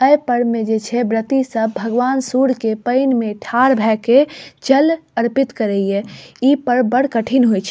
ए पर्व मे जे छै व्रती सब भगवान सूर्य के पेएन में ठार भए के जल अर्पित करे ये इ पर्व बड़ कठिन होय छै।